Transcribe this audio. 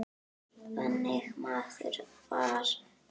Þannig maður var Þór.